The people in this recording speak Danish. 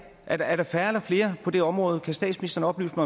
er dér er der færre eller flere på det område kan statsministeren oplyse